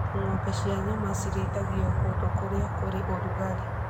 Ng'ombe cia nyama cirĩithagio kũndũ kũrĩa kũrĩ ũrugarĩ.